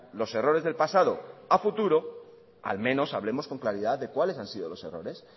los errores del pasado a futuro al menos hablemos con claridad de cuáles han sido los errores